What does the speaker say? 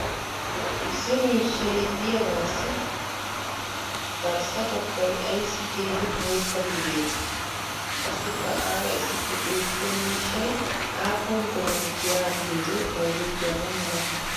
Issi miishshay diyaagaassi garssa bagay ayssi keehi bootta gididee? Qassikka aara issippe beetiya miishshay aappun biran giyaa biyoode bayzzettiyaaba malatii?